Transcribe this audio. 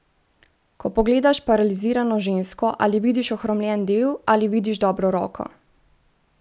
Ko pogledaš paralizirano žensko, ali vidiš ohromljen del ali vidiš dobro roko?